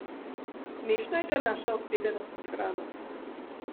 Smešna je ta naša obsedenost s hrano.